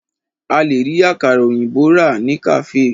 A lè rí àkàrà òyìnbó rà ní kàféè.